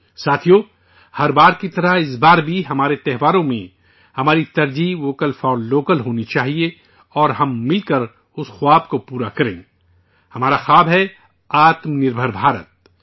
ساتھیو، ہر بار کی طرح اس بار بھی، ہمارے تہواروں میں، ہماری ترجیح ہو 'ووکل فار لوکل' اور ہم مل کر اُس خواب کو پورا کریں، ہمارا خواب ہے 'آتم نربھر بھارت'